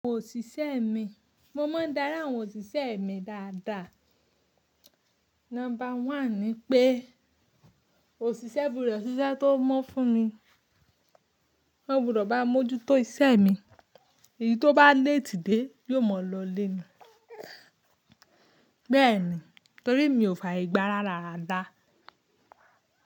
Àwọn òṣìṣẹ́ mi, mo máa ń dari àwọn òṣìṣẹ́ mi dáadáa. Number one ni pé òṣìṣẹ́ gbudo se iṣẹ́ tó mọ́ fún mi, ó gbúdọ̀ bá n mojútó iṣẹ́ mi, èyí tó bá léètì dé yó mọ̀ lọ ilé ni. Bẹ́ẹ̀ni, torí mi ò faaye gbà ráda rádá.